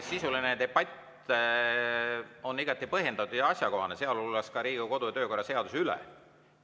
Sisuline debatt on igati põhjendatud ja asjakohane, sealhulgas Riigikogu kodu‑ ja töökorra seaduse üle.